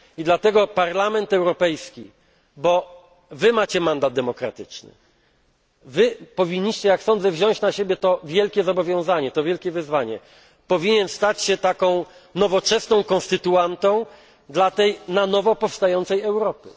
Dlatego Parlament Europejski bo Wy macie mandat demokratyczny, Wy powinniście, jak sądzę, wziąć na siebie to wielkie zobowiązanie, to wielkie wyzwanie powinien stać się taką nowoczesną konstytuantą dla tej na nowo powstającej Europy.